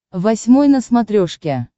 восьмой на смотрешке